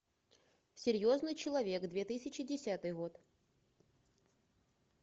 серьезный человек две тысячи десятый год